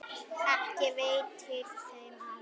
Ekki veitir þeim af.